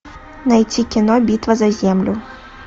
найти кино битва за землю